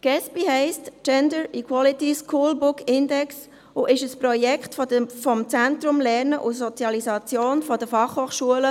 Gesbi heisst Gender Equality School Book Index und ist ein Projekt des Zentrums Lernen und Sozialisation der FHNW.